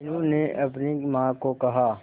मीनू ने अपनी मां को कहा